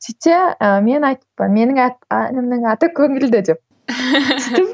сөйтсе ы мен айтыппын менің әнімнің аты көңілді деп